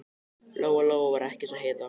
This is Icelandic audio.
Lóa-Lóa var ekki eins og Heiða